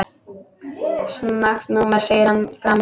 Skakkt númer segir hann gramur.